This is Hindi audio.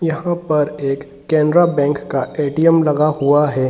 यहाँ पर एक केनरा बैंक का ए.टी.एम. लगा हुआ है।